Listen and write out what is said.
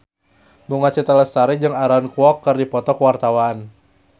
Bunga Citra Lestari jeung Aaron Kwok keur dipoto ku wartawan